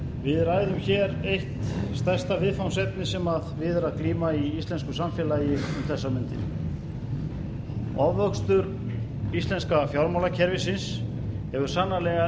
við ræðum hér eitt stærsta viðfangsefni sem við er að glíma í íslensku samfélagi um þessar mundir ofvöxtur íslenska fjármálakerfisins hefur sannarlega